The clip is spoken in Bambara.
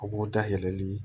A b'o dayɛlɛli